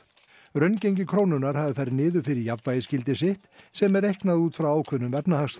raungengi krónunnar hafi farið niður fyrir jafnvægisgildi sitt sem er reiknað út frá ákveðnum